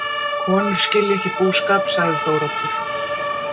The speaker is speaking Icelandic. Konur skilja ekki búskap, sagði Þóroddur.